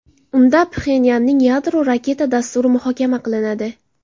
Unda Pxenyanning yadro-raketa dasturi muhokama qilinadi.